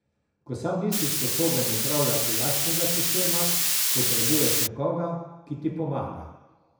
Ko sam nisi sposoben upravljati lastnega sistema, potrebuješ nekoga, ki ti pomaga.